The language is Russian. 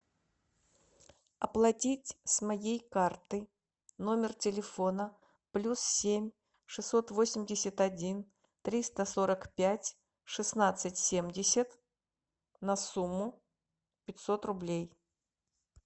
оплатить с моей карты номер телефона плюс семь шестьсот восемьдесят один триста сорок пять шестнадцать семьдесят на сумму пятьсот рублей